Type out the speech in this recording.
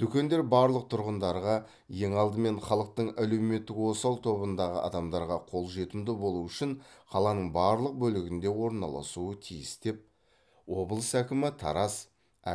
дүкендер барлық тұрғындарға ең алдымен халықтың әлеуметтік осал тобындағы адамдарға қол жетімді болу үшін қаланың барлық бөлігінде орналасуы тиіс деп облыс әкімі тараз